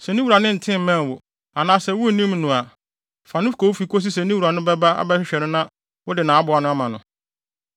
Sɛ ne wura nte mmɛn wo, anaasɛ wunnim no a, fa no kɔ wo fi kosi sɛ ne wura no bɛba abɛhwehwɛ no na wode nʼaboa ma no.